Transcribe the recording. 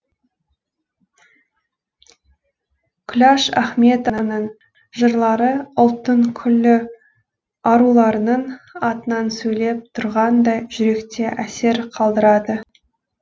күләш ахметованың жырлары ұлттың күллі аруларының атынан сөйлеп тұрғандай жүректе әсер қалдырады